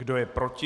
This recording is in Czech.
Kdo je proti?